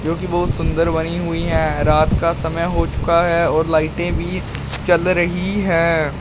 कि बहुत सुंदर बनी हुई हैं रात का समय हो चुका है और लाइटें भी जल रही हैं।